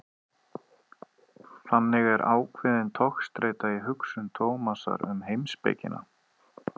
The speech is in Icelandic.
Þannig er ákveðin togstreita í hugsun Tómasar um heimspekina.